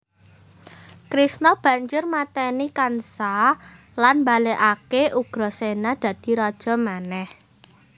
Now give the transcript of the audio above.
Krishna banjur matèni kansa lan mbalèkaké Ugraséna dadi raja manèh